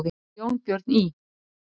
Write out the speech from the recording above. Hann Jónbjörn í